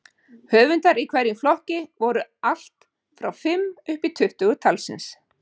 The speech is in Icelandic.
Höfundar í hverjum flokki voru allt frá fimm uppí tuttugu talsins.